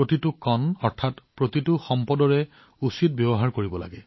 প্ৰতিটো কণা অৰ্থাৎ প্ৰতিটো সম্পদৰ সঠিক ব্যৱহাৰ কৰিব লাগে